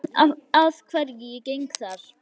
Ég veit að hverju ég geng þar.